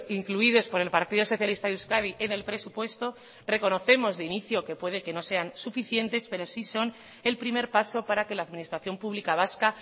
incluidos por el partido socialista de euskadi en el presupuesto reconocemos de inicio que puede que no sean suficientes pero sí son el primer paso para que la administración pública vasca